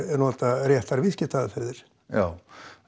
nota réttar viðskiptaaðferðir já